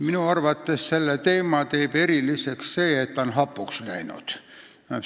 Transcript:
Minu arvates teeb selle teema eriliseks see, et ta on hapuks läinud.